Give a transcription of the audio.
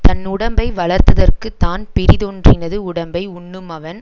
தன்னுடைம்பை வளர்த்ததற்குத் தான் பிறிதொன்றினது உடம்பை உண்ணுமவன்